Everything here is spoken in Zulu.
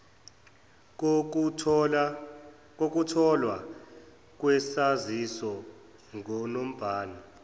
kokutholwa kwesaziso ngunobhala